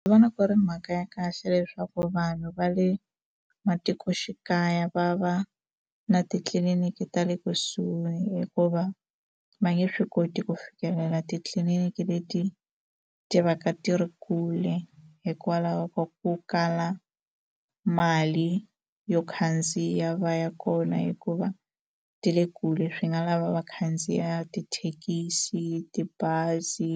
Ndzi vona ku ri mhaka ya kahle leswaku vanhu va le matikoxikaya va va na titliliniki ta le kusuhi hikuva va nge swi koti ku fikelela titliliniki leti ti va ka ti ri kule hikwalaho ka ku kala mali yo khandziya va ya kona hikuva ti le kule swi nga lava va khandziya tithekisi tibazi